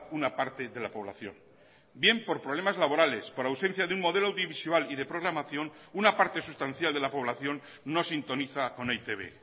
una parte de la población bien por problemas laborales por ausencia de un modelo audiovisual y de programación una parte sustancial de la población no sintoniza con e i te be